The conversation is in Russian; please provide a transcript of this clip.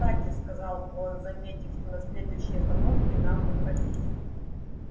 кстати сказал он заметив на следующей остановке нам выходить